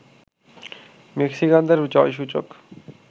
মেক্সিকানদের জয়সূচক